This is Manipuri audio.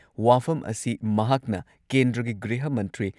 ꯋꯥꯐꯝ ꯑꯁꯤ ꯃꯍꯥꯛꯅ ꯀꯦꯟꯗ꯭ꯔꯒꯤ ꯒ꯭ꯔꯤꯍ ꯃꯟꯇ꯭ꯔꯤ